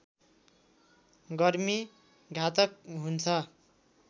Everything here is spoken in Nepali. गर्मी घातक हुन्छ